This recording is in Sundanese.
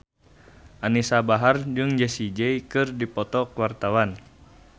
Anisa Bahar jeung Jessie J keur dipoto ku wartawan